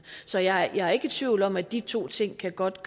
så jeg er ikke i tvivl om at de to ting godt